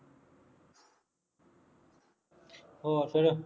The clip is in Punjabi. ਹੋਰ ਫੇਰ